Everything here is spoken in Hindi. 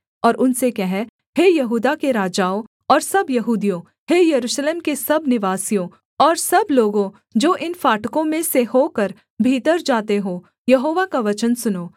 और उनसे कह हे यहूदा के राजाओं और सब यहूदियों हे यरूशलेम के सब निवासियों और सब लोगों जो इन फाटकों में से होकर भीतर जाते हो यहोवा का वचन सुनो